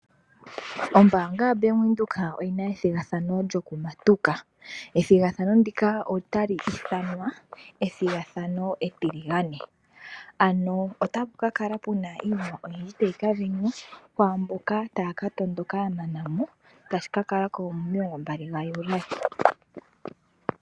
Ombanga yobank windhoek oyina ehigathano lyokumatuka. Ethigathano ndika otali ithanwa ethigathano etiligane ano otapu kakala puna iinima oyindji tayika sindanwa kwamboka taya katondoka ya manao tashi ka kalako momilongo mbali gajuly.